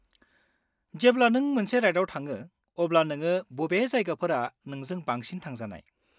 -जेब्ला नों मोनसे राइडआव थाङो अब्ला नोङो बबे जायगाफोरा नोंजों बांसिन थांजानाय?